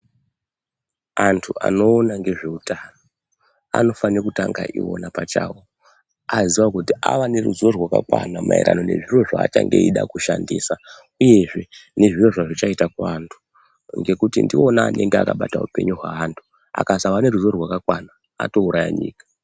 Antu anoona ngezveutano anofane kutanga iwona pachawo aziya kuti avaneruzivo rwakakwana maererano nezviro zvaachange eida kushandisa uyezve nezviro zvezvichaita kuvantu, ngekuti ndiwona anenge akabata hupunyu hwaantu akasave neruzivo rwakakwana atouraya nyika.